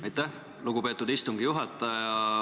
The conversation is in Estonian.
Aitäh, lugupeetud istungi juhataja!